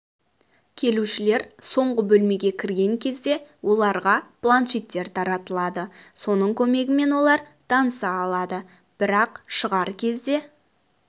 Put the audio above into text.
келушілер соңғы бөлмеге кірген кезде оларға планшеттер таратылады соның көмегімен олар таныса алады бірақ шығар кезде